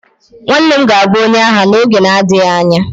nwanne m ga-abu onye agha n'oge na-adịghị anya